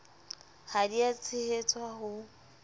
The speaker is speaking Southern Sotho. ha di a tshehetswa ho